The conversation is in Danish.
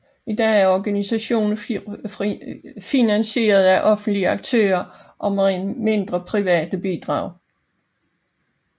I dag er organisationen finansieret af offentlige aktører og mindre private bidrag